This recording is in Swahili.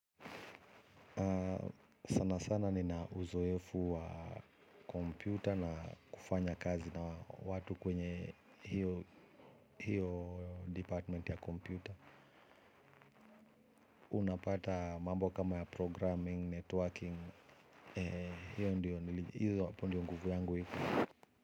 Sana sana ninauzoefu wa kompyuta na kufanya kazi na watu kwenye hio hio department ya kompyuta. Unapata mambo kama ya programming, networking, hapo ndio nguvu yangu iko.